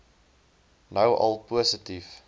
nou al positief